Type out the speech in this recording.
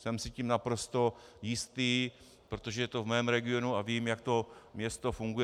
Jsem si tím naprosto jistý, protože je to v mém regionu a vím, jak to město funguje.